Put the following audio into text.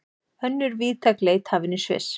Önnur víðtæk leit hafin í Sviss